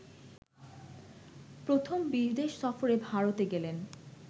প্রথম বিদেশ সফরে ভারতে গেলেন